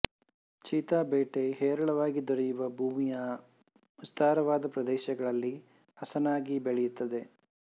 cheetah ಬೇಟೆ ಹೇರಳವಾಗಿ ದೊರೆಯುವ ಭೂಮಿಯ ವಿಸ್ತಾರವಾದ ಪ್ರದೇಶಗಳಲ್ಲಿ ಹಸನಾಗಿ ಬೆಳೆಯುತ್ತದೆ